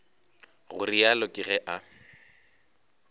go realo ke ge a